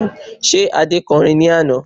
Ṣé Adé kọ orin ní àná?